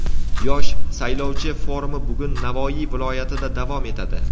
"Yosh saylovchi" forumi bugun Navoiy viloyatida davom etadi.